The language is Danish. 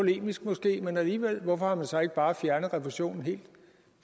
polemisk måske men alligevel hvorfor har man så ikke bare fjernet refusionen helt